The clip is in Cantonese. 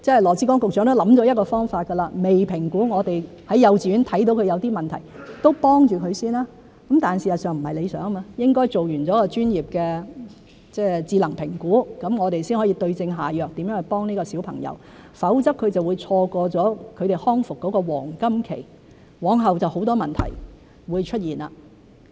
羅致光局長都想了一個方法：未評估，我們在幼稚園看到他有一些問題，先給他幫忙；但事實上是不理想的，應該做完一個專業的智能評估，我們才可以對症下藥決定怎樣去幫助這個小朋友，否則他就會錯過他的康復黃金期，往後就會出現很多問題。